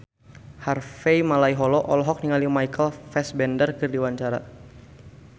Harvey Malaiholo olohok ningali Michael Fassbender keur diwawancara